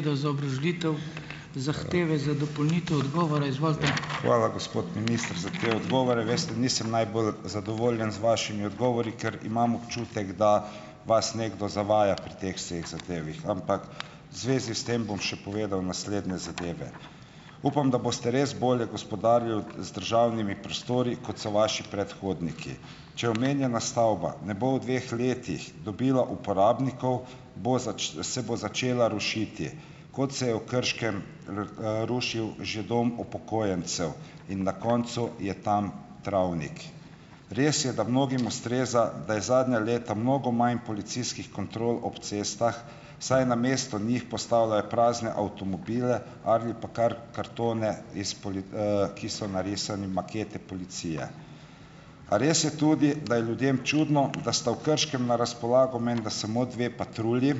Hvala, gospod minister, za te odgovore. Veste, nisem najbolj zadovoljen z vašimi odgovori, ker imam občutek, da vas nekdo zavaja pri teh vseh zadevah, ampak v zvezi s tem bom še povedal naslednje zadeve. Upam, da boste res bolje gospodarili z državnimi prostori, kot so vaši predhodniki. Če omenjena stavba ne bo v dveh letih dobila uporabnikov, bo se bo začela rušiti, kot se je v Krškem rušil že dom upokojencev in na koncu je tam travnik. Res je, da mnogim ustreza, da je zadnja leta mnogo manj policijskih kontrol ob cestah, saj namesto njih postavljajo prazne avtomobile ali pa kar kartone, iz pol, ki so narisani makete policije. A res je tudi, da je ljudem čudno, da sta v Krškem na razpolago menda samo dve patrulji,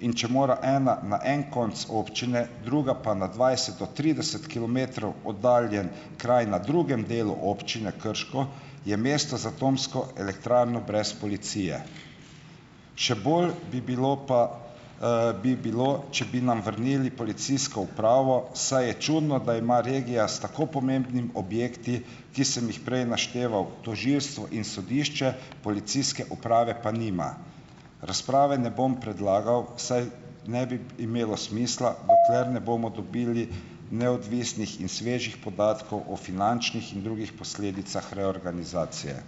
in če mora ena na en konec občine, druga pa na dvajset do trideset kilometrov oddaljen kraj na drugem delu Občine Krško, je mesto z atomsko elektrarno brez policije. Še bolje bi bilo, pa, bi bilo če bi nam vrnili policijsko upravo, saj je čudno, da ima regija s tako pomembnimi objekti, ki sem jih prej našteval, tožilstvo in sodišče, policijske uprave pa nima. Razprave ne bom predlagal, saj ne bi imelo smisla dokler ne bomo dobili neodvisnih in svežih podatkov o finančnih in drugih posledicah reorganizacije.